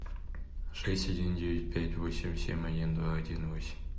шесть один девять пять восемь семь один два один восемь